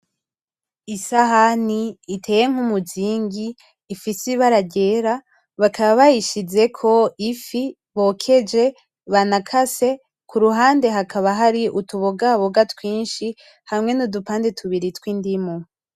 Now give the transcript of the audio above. Isahani iteye nkumuzingi ifise ibara ryera bakaba bayishizeko ifi bokeje banakase kuruhande hakaba hari utubogaboga twinshi hamwe nudupande tundi twindimu.